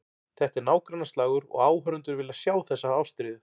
Þetta er nágrannaslagur og áhorfendur vilja sjá þessa ástríðu.